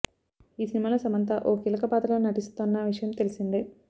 ఈ సినిమాలో సమంత ఓ కీలక పాత్రలో నటిస్తోన్న విషయం తెలిసిందే